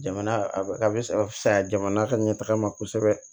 Jamana a bɛ a bɛ a bɛ fisaya jamana ka ɲɛtaga ma kosɛbɛ